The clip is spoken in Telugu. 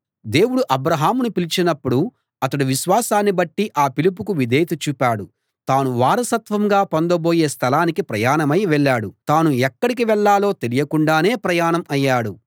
దేవుడు అబ్రాహామును పిలిచినప్పుడు అతడు విశ్వాసాన్ని బట్టి ఆ పిలుపుకు విధేయత చూపాడు తాను వారసత్వంగా పొందబోయే స్థలానికి ప్రయాణమై వెళ్ళాడు తాను ఎక్కడికి వెళ్ళాలో తెలియకుండానే ప్రయాణం అయ్యాడు